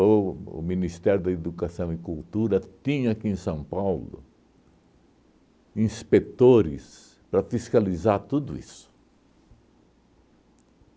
O o Ministério da Educação e Cultura tinha, aqui em São Paulo, inspetores para fiscalizar tudo isso.